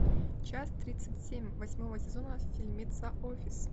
часть тридцать семь восьмого сезона фильмеца офис